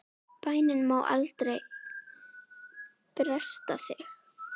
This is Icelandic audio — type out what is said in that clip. Bænin má aldrei bresta þig!